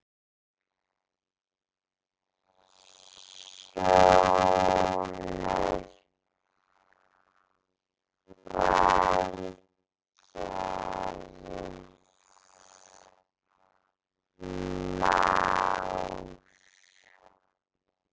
Þinn sonur, Valgarð Már.